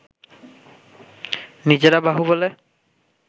নিজেরা বাহুবলে